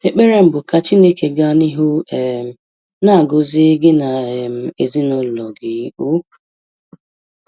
Ekpere m bụ ka Chineke gaa n'ihu um na-agọzi gị na um ezinụụlọ gị um